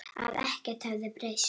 Að ekkert hefði breyst.